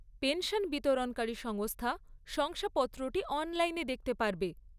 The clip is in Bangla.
পেনশন বিতরণকারী সংস্থা শংসাপত্রটি অনলাইনে দেখতে পারবে।